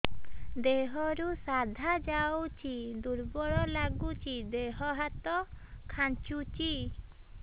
ଦେହରୁ ସାଧା ଯାଉଚି ଦୁର୍ବଳ ଲାଗୁଚି ଦେହ ହାତ ଖାନ୍ଚୁଚି